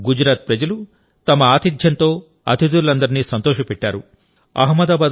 కానీ గుజరాత్ ప్రజలు తమ ఆతిథ్యంతో అతిథులందరినీ సంతోషపెట్టారు